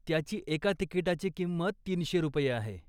त्याची एका तिकीटाची किंमत तीनशे रुपये आहे.